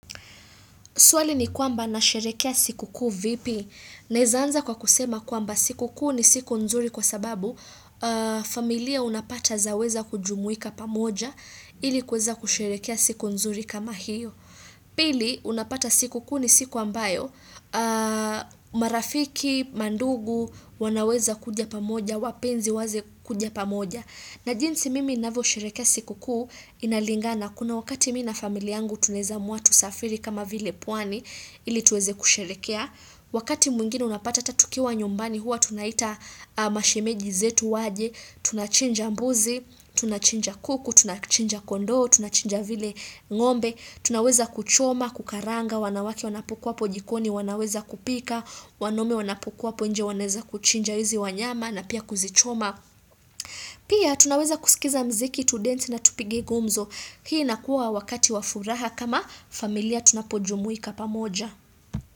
Swali ni kwamba nasheherekea siku kuu vipi? Naeza anza kwa kusema kwamba. Siku kuu ni siku nzuri kwa sababu, familia unapata zaweza kujumuika pamoja ilikuweza kusherekea siku nzuri kama hiyo. Pili unapata siku kuu ni siku ambayo marafiki, mandugu, wanaweza kuja pamoja, wapenzi waweza kuja pamoja. Na jinzi mimi ninavyo sherekea siku kuu, inalingana. Kuna wakati mimi na familia yangu tunaeza amua tusafiri kama vile pwani, ili tuweze kusherekea. Wakati mwingine unapata ata tukiwa nyumbani huwa tunaita Mashimeji zetu waje, tunachinja mbuzi, tunachinja kuku, tunachinja kondo, tunachinja vile ngombe, tunaweza kuchoma, kukaranga, wanawake wanapo kuwa hapo jikoni, wanaweza kupika, wanaume wanapo kuwa hapo nje wanaweza kuchinja hizi wanyama na pia kuzichoma. Pia tunaweza kusikiza mziki tudensi na tupige gumzo. Hii inakuwa wakati wa furaha kama familia tunapojumuika pamoja.